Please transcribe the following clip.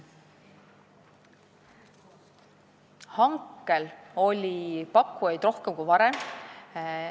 Hankel oli pakkujaid rohkem kui varem.